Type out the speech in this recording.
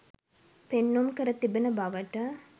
පෙන්නුම් කර තිබෙන බවට